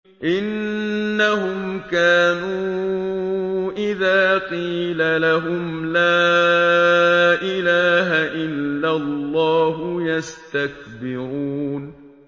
إِنَّهُمْ كَانُوا إِذَا قِيلَ لَهُمْ لَا إِلَٰهَ إِلَّا اللَّهُ يَسْتَكْبِرُونَ